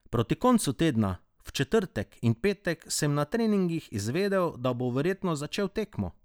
Proti koncu tedna, v četrtek in petek, sem na treningih izvedel, da bom verjetno začel tekmo.